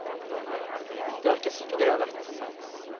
Det er ikke sikkert jeg har rett.